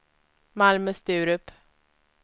Malmö-Sturup